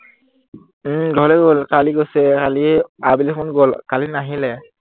উম ঘৰলৈ গল। কালি গৈছে, কালি আবেলি সময়ত গল, কালি নাহিলে।